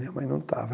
Minha mãe não estava.